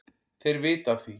Þeir vita af því,